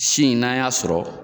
Si in n'an ya sɔrɔ